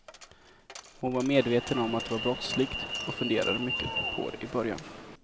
Hon var medveten om att det var brottsligt och funderade mycket på det i början.